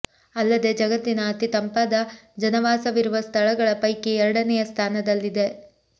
ಅಲ್ಲದೆ ಜಗತ್ತಿನ ಅತಿ ತಂಪಾದ ಜನವಾಸವಿರುವ ಸ್ಥಳಗಳ ಪೈಕಿ ಎರಡನೇಯ ಸ್ಥಾನದಲ್ಲಿದೆ